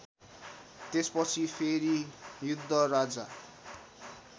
त्यसपछि फेरि योद्धराजा